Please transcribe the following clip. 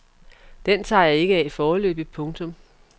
Den tager jeg ikke af foreløbig. punktum